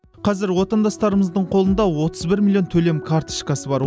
қазір отандастарымыздың қолында отыз бір миллион төлем карточкасы бар